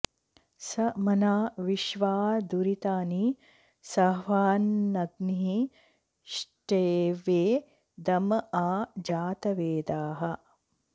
स मह्ना विश्वा दुरितानि साह्वानग्निः ष्टवे दम आ जातवेदाः